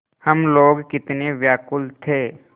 हम लोग कितने व्याकुल थे